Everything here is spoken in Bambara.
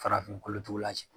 Farafin kolotugula cɛ